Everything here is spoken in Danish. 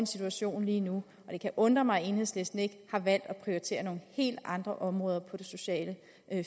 situation lige nu og det kan undre mig at enhedslisten ikke har valgt at prioritere nogle helt andre områder på det sociale